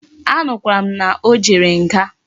A nukwara m na o jere nga